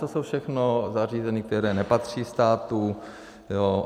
To jsou všechno zařízení, která nepatří státu.